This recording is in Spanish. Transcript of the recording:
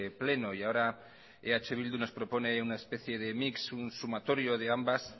pleno y ahora eh bildu nos propone una especie de mix un sumatorio de ambas